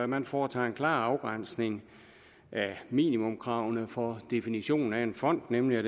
man foretager en klar afgrænsning af minimumskravene for definitionen af en fond nemlig